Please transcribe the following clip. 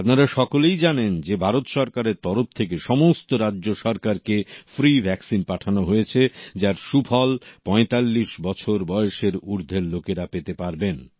আপনারা সকলেই জানেন যে ভারত সরকারের তরফ থেকে সমস্ত রাজ্য সরকারকে ফ্রি ভ্যাক্সিন পাঠানো হয়েছে যার সুফল ৪৫ বছর বয়সের ঊর্ধ্বের লোকেরা পেতে পারবেন